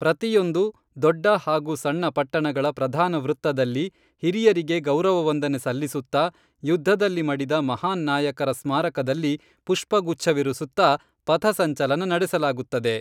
ಪ್ರತಿಯೊಂದು ದೊಡ್ಡ ಹಾಗೂ ಸಣ್ಣ ಪಟ್ಟಣಗಳ ಪ್ರಧಾನ ವೃತ್ತದಲ್ಲಿ ಹಿರಿಯರಿಗೆ ಗೌರವವಂದನೆ ಸಲ್ಲಿಸುತ್ತಾ ಯುದ್ಧದಲ್ಲಿ ಮಡಿದ ಮಹಾನ್ ನಾಯಕರ ಸ್ಮಾರಕದಲ್ಲಿ ಪುಷ್ಪಗುಚ್ಛವಿರಿಸುತ್ತಾ ಪಥಸಂಚಲನ ನಡೆಸಲಾಗುತ್ತದೆ